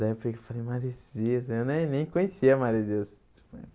Daí eu peguei e falei, Maresias, né eu nem nem conhecia Maresias.